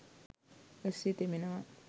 වැස්සේ තෙමෙනවා